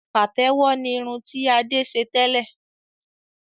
Pàtẹ́wọ̀ ni irun ti Adé ṣe tẹ́lẹ̀